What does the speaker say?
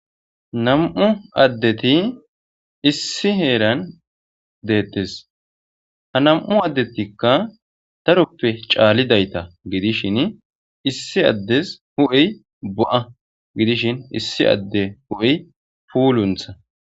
nam'u addeti issi heeran detees ha nam'u addetikka daroppe caalidaytta gidishshin issi addes hu'ey bo'a gidishshin issi adde hu'ey pulunththa